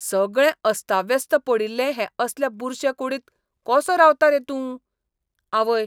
सगळें अस्ताव्यस्त पडिल्ले हे असले बुरशे कुडींत कसो रावता रे तूं? आवय